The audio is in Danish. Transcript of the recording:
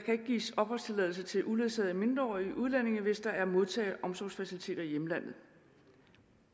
kan gives opholdstilladelse til uledsagede mindreårige udlændinge hvis der er modtage og omsorgsfaciliteter i hjemlandet